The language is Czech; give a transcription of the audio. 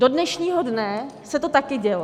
Do dnešního dne se to taky dělo.